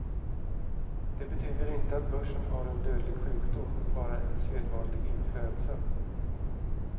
Det betyder inte att börsen har en dödlig sjukdom, bara en sedvanlig influensa.